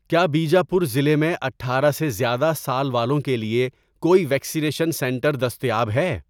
کیا بیجاپور ضلع میں اٹھارہ سے زیادہ سال والوں کے لیے کوئی ویکسینیشن سنٹر دستیاب ہے؟